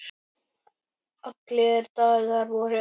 Allir dagar voru eins.